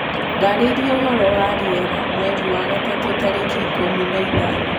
ndaririaũhoro wa rĩera mwerĩ wa gatatu tarĩkĩ ikumi na ithano